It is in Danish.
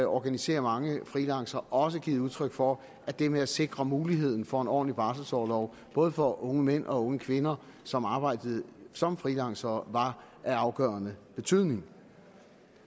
organiserer mange freelancere også givet udtryk for at det med at sikre muligheden for en ordentlig barselorlov både for unge mænd og unge kvinder som arbejder som freelancere er af afgørende betydning